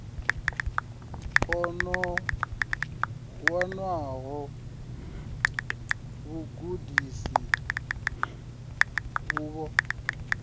o no wanaho vhugudisi uvho